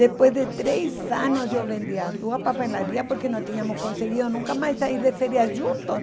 Depois de três anos, eu vendi as duas papelarias porque não tínhamos conseguido nunca mais sair de férias juntos.